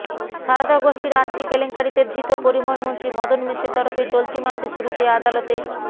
সারদা গোষ্ঠীর আর্থিক কেলেঙ্কারিতে ধৃত পরিবহণমন্ত্রী মদন মিত্রের তরফে চলতি মাসের শুরুতে আদালতে